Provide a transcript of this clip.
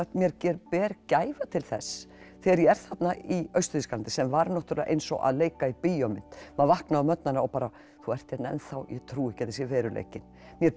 mér ber gæfa til þess þegar ég er þarna í Austur Þýskaland sem var náttúrulega eins og að leika í bíómynd maður vaknaði á morgnanna og bara þú ert hérna enn þá ég trúi ekki að sé veruleikinn mér ber